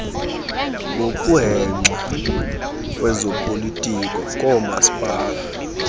ngokuhexa kwezopolitiko koomasipala